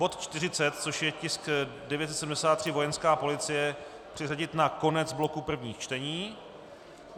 Bod 40, což je tisk 973, Vojenská policie, přeřadit na konec bloku prvních čtení.